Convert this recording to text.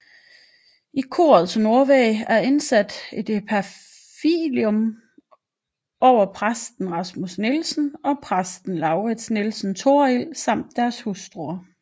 I korets nordvæg er indsat et epitafium over præsten Rasmus Nielsen og præsten Lauritz Nielsen Torrild samt deres hustruer